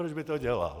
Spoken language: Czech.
Proč by to dělal?